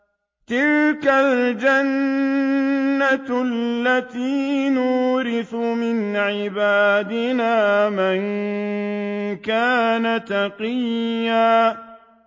تِلْكَ الْجَنَّةُ الَّتِي نُورِثُ مِنْ عِبَادِنَا مَن كَانَ تَقِيًّا